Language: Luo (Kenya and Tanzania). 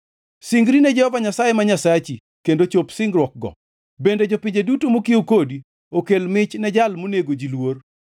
Singri ne Jehova Nyasaye ma Nyasachi, kendo chop singruokgo; bende jopinje duto mokiewo kodi, okel mich ne Jal monego ji luor.